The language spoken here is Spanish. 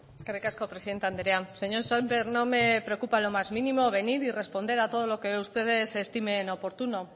eskerrik asko presidente andrea señor sémper no me preocupa lo más mínimo venir y responder a todo lo que ustedes estimen oportuno